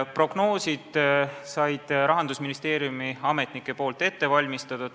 Prognoosid olid Rahandusministeeriumi ametnike ette valmistatud.